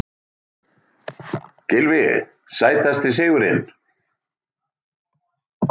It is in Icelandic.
Gylfi Sætasti sigurinn?